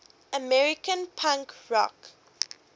american punk rock